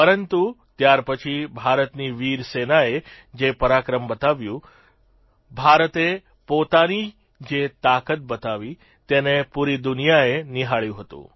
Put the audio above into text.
પરંતુ ત્યાર પછી ભારતની વીર સેનાએ જે પરાક્રમ બતાવ્યું ભારતે પોતાની જે તાકાત બતાવી તેને પૂરી દુનિયાએ નિહાળ્યું હતું